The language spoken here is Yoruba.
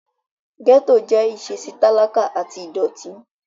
Gẹ́ẹ́tò jẹ́ ìṣesí talakà àti ìdọ̀ọ̀tí